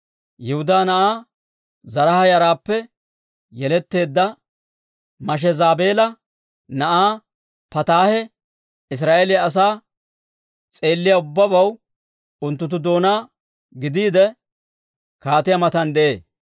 Yihudaa na'aa Zaraaha yaraappe yeletteedda Mashezaabeela na'aa Pataahe Israa'eeliyaa asaa s'eelliyaa ubbabaw unttunttu doonaa gidiide, kaatiyaa matan de'ee.